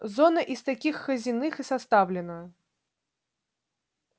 зона из таких хазиных и составлена